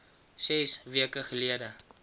ses weke gelede